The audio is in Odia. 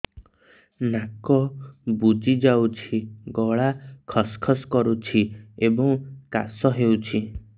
ନାକ ବୁଜି ଯାଉଛି ଗଳା ଖସ ଖସ କରୁଛି ଏବଂ କାଶ ହେଉଛି